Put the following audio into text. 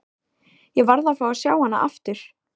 Ég varð að fá að sjá hana aftur.